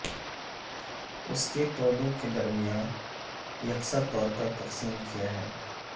اس کے پودوں کے درمیان یکساں طور پر تقسیم کیا ہے